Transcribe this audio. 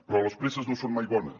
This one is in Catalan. però les presses no són mai bones